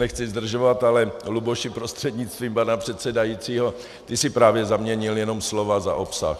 Nechci zdržovat, ale Luboši prostřednictvím pana předsedajícího, ty jsi právě zaměnil jenom slova za obsah.